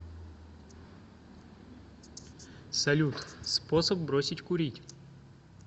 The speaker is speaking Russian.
салют способ бросить курить